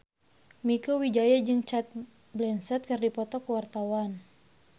Mieke Wijaya jeung Cate Blanchett keur dipoto ku wartawan